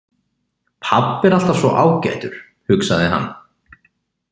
Pabbi er alltaf svo ágætur, hugsaði hann.